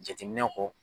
Jateminɛ kɔ